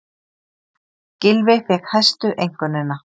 Gylfi fékk hæstu einkunnina